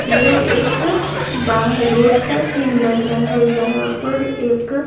यह एक बाहर रोड का सीन लग रहा है जहां पर एक--